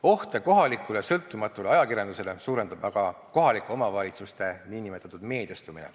Ohte kohalikule sõltumatule ajakirjandusele suurendab aga kohalike omavalitsuste nn meediastumine.